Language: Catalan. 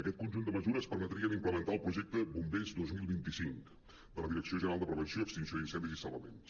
aquest conjunt de mesures permetrien implementar el projecte bombers dos mil vint cinc de la direcció general de prevenció extinció d’incendis i salvaments